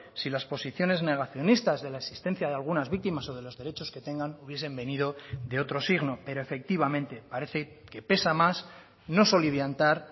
si las posiciones negacionistas de la existencia de algunas víctimas o de los derechos que tengan hubiesen venido de otro signo pero efectivamente parece que pesa más no soliviantar